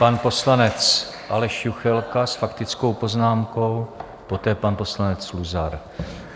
Pan poslanec Aleš Juchelka s faktickou poznámkou, poté pan poslanec Luzar.